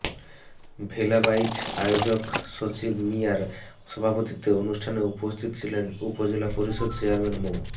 ভেলাবাইচ আয়োজক সজিব মিয়ার সভাপতিত্বে অনুষ্ঠানে উপস্থিত ছিলেন উপজেলা পরিষদ চেয়ারম্যান মো